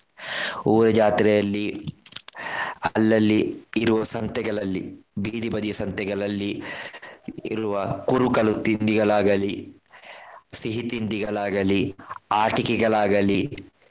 ಊರ ಜಾತ್ರೆಯಲ್ಲಿ ಅಲ್ಲಲ್ಲಿ ಇರುವ ಸಂತೆಗಳಲ್ಲಿ ಬೀದಿ ಬದಿಯ ಸಂತೆಗಳಲ್ಲಿ ಇರುವ ಕುರುಕಲು ತಿಂಡಿಗಳಾಗಲಿ, ಸಿಹಿ ತಿಂಡಿಗಳಾಗಲಿ, ಆಟಿಕೆಗಳಾಗಲಿ.